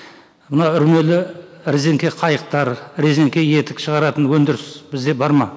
мына үрмелі резенке қайықтар резенке етік шығаратын өндіріс бізде бар ма